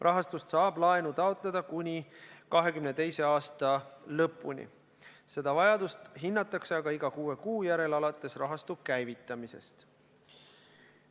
Rahastust saab laenu taotleda kuni 2021. aasta lõpuni, seda vajadust hinnatakse aga iga kuue kuu järel, alates rahastu käivitamisest.